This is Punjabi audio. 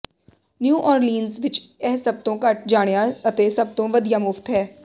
ਨਿਊ ਓਰਲੀਨਜ਼ ਵਿਚ ਇਹ ਸਭ ਤੋਂ ਘੱਟ ਜਾਣਿਆ ਅਤੇ ਸਭ ਤੋਂ ਵਧੀਆ ਮੁਫ਼ਤ ਹੈ